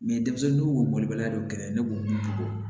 denmisɛnninw k'o bɔla dɔ gɛrɛ ne b'o bɔ